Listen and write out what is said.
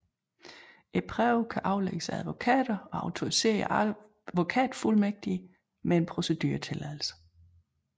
Prøven kan aflægges af advokater og autoriserede advokatfuldmægtige med en proceduretilladelse